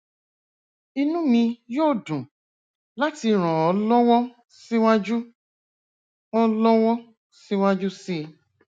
inú mi yóò dùn láti ràn ọ lọwọ síwájú ọ lọwọ síwájú sí i